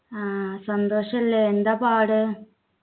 ആഹ് സന്തോഷല്ലേ എന്താ പാട്